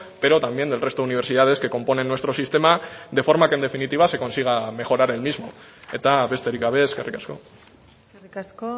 pero también del resto de universidades que componen nuestro sistema de forma que en definitiva se consiga mejorar el mismo eta besterik gabe ezkerrik asko eskerrik asko